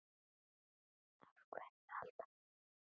Af hverju alltaf ég?